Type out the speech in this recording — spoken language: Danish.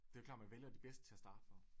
Det jo klart man vælger de bedste til at starte med